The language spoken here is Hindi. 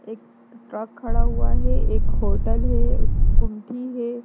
एक ट्रक खड़ा हुआ है एक होटल है उसकी गुमठी है--